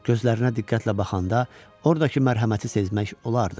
Gözlərinə diqqətlə baxanda ordakı mərhəməti sezmək olardı.